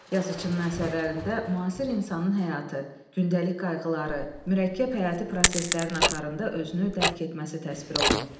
Yazıçının əsərlərində müasir insanın həyatı, gündəlik qayğıları, mürəkkəb həyati proseslərin axarında özünü dərk etməsi təsvir olunub.